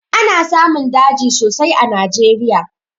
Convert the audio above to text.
Ana samun daji sosai a najeriya